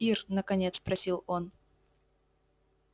ир наконец спросил он